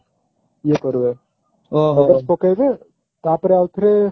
ଇଏ କରିବେ focus ପକେଇବେ ତା ପରେ ଆଉ ଥରେ